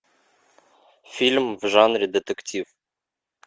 фильм в жанре детектив